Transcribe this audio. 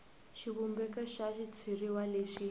xivumbeko xa xitshuriwa lexi